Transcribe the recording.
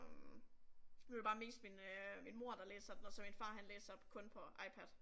Øh nu er det bare mest min øh min mor der læser den og så min far han læser kun på iPad